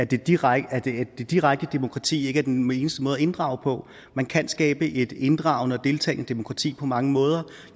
det direkte direkte demokrati ikke er den eneste måde at inddrage på man kan skabe et inddragende og deltagende demokrati på mange måder og